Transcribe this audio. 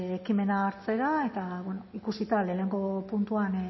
ekimena hartzera eta bueno ikusita lehenago puntuan